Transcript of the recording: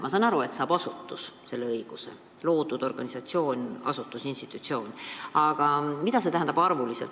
Ma saan aru, et asutus saab selle õiguse – organisatsioon, asutus, institutsioon –, aga mida see tähendab arvuliselt?